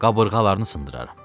Qabırğalarını sındıraram.